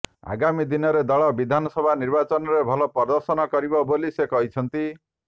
ଆଗାମୀ ଦିନରେ ଦଳ ବିଧାନ ସଭା ନିର୍ବାଚନରେ ଭଲ ପ୍ରଦର୍ଶନ କରିବ ବୋଲି ସେ କହିଛନ୍ତି